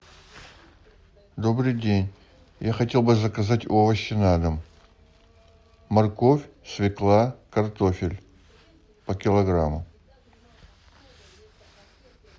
добрый день я хотел бы заказать овощи на дом морковь свекла картофель по килограмму